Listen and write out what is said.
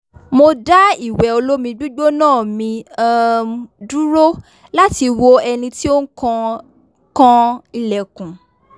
mo dá ìwẹ̀ olómi gbígbóná mi um dúró láti wo ẹni tí ó ń kan ń kan ilẹ̀kùn